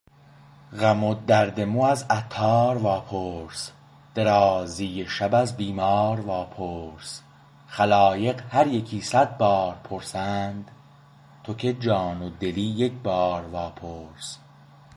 غم و درد مو از عطار واپرس درازی شب از بیمار واپرس خلایق هر یکی صد بار پرسند تو که جان و دلی یکبار واپرس